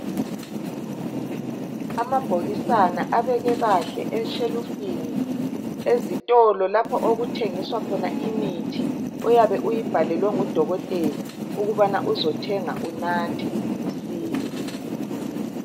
Amabhokisana abekwe kahle eshelufini ezitolo lapho okuthengiswa khona imithi. Oyabe uyibhalelwe ngudokotela ukubana uzothenga unathe usile.